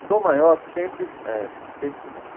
O Tom Maior sempre eh... Sempre não.